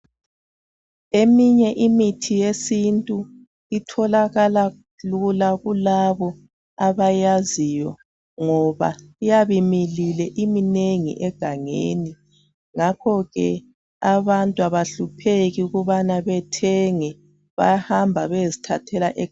Eminye imithi yesintu itholakala lula kulabo abayaziyo ngoba iyabe imilile iminengi egangeni ngakhoke abantu abahlupheki ukubana bethenge bayahamba beyezithathela egangeni